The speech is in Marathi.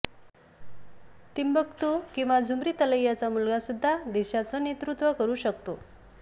तिंबकतू किंवा झुमरीतलैयाचा मुलगासुद्धा देशाचं नेतृत्व करू शकतो